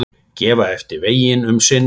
Gefa eftir veginn um sinn